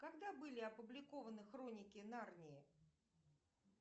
когда были опубликованы хроники нарнии